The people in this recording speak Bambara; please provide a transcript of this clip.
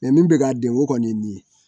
min bɛ k'a denko kɔni ye nin ye